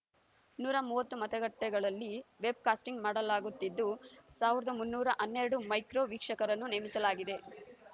ನೂರ ಮೂವತ್ತು ಮತಗಟ್ಟೆಗಳಲ್ಲಿ ವೆಬ್‌ಕಾಸ್ಟಿಂಗ್‌ ಮಾಡಲಾಗುತ್ತಿದ್ದು ಸಾವಿರದ ಮುನ್ನೂರ ಹನ್ನೆರಡು ಮೈಕ್ರೋ ವೀಕ್ಷಕರನ್ನು ನೇಮಿಸಲಾಗಿದೆ